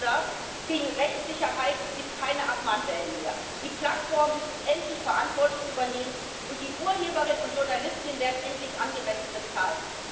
Die Uploader kriegen Rechtssicherheit, es gibt keine Abmahnwellen mehr, die Plattformen müssen endlich Verantwortung übernehmen, und die Urheberinnen und Journalistinnen werden endlich angemessen bezahlt.